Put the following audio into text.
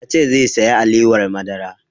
Ya ce zai saya alewar madara